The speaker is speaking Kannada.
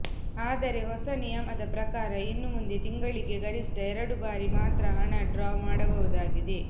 ಆದರೆ ಹೊಸ ನಿಯಮದ ಪ್ರಕಾರ ಇನ್ನು ಮುಂದೆ ತಿಂಗಳಿಗೆ ಗರಿಷ್ಠ ಎರಡು ಬಾರಿ ಮಾತ್ರ ಹಣ ಡ್ರಾ ಮಾಡಬಹುದಾಗಿದೆ